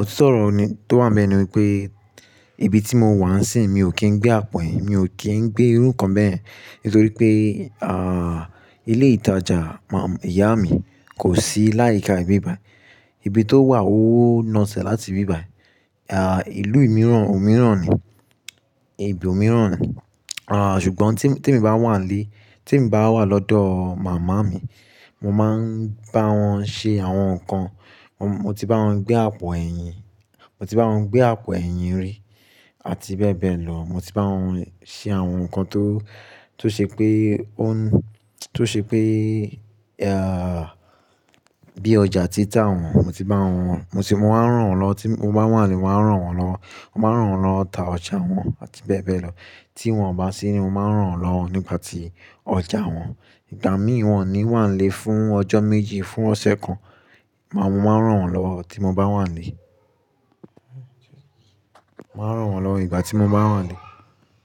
Òtítọ́ ọ̀rọ̀ ni tó wà níbẹ̀ ni pé ibi tí mo wà n sín mi ò kí ń gbé àpò ẹ̀yìn, mi ò kí ń gbé irú nǹkan bẹ́yẹn nítorí pé, à, ilé ìtajà má, ìyá mi kò sí láyíká ìbí bàị̀. Ibi tó wà ó naṣẹ̀ láti ibí bàị̀. Ìlú mìíràn, òmíràn ni, ibi òmíràn ni. Sùgbọ́n tí, tí èmi bá wà nílé, tí emi bá wà lọ́dọ̀ màmá mi, mo máa ń bá wọn ṣe àwọn nǹkan. Mo ti bá wọn gbé àpò ẹ̀yìn, mo ti bá wọn gbé àpò ẹ̀yìn rí àti bẹ́ẹ̀ bẹ́ẹ̀ lọ. Mo ti bá wọn ṣe àwọn nǹkan tó, tó ṣe pé ó ń, tó ṣe pé, à, bí ọjà títa wọn, but mo ti bá wọn, mo ti, mo máa ń ràn wọ́n lọ́, tí mo bá wà nílé mo máa ń ràn wọ́n lọ. Mo máa ń ràn wọ́n lọ ta ọjà wọn àti bẹ́ẹ̀ bẹ́ẹ̀ lọ. Tí wọ́n ò bá sí ni mo máa ń ràn wọ́n lọ nígbà tí ọjà wọn. Ìgbà míi wọ̀n o ni wà nílé fún ọjọ́ méjì, fún ọ̀sẹ̀ kan. Màá, mo máa ń ràn wọ́n lọ tí mo bá wà nílé. Mo máa ń ràn wọ́n lọwo ìgbà tí mo bá wà nílé.